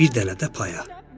Bir dənə də paya.